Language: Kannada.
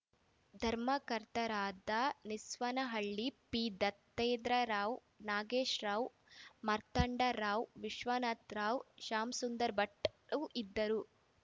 ಧರ್ಮಕರ್ತರಾದ ನಿಸ್ವವನಹಳ್ಳಿ ಪಿ ದತ್ತಾತ್ರೇಯರಾವ್‌ ನಾಗೇಶ್ವರರಾವ್ ಮಾರ್ತಾಂಡರಾವ್ ವಿಶ್ವನಾಥ ರಾವ್‌ ಶಾಮಸುಂದರಭಟ್‌ ಇದ್ದರು